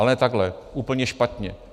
Ale ne takhle, úplně špatně.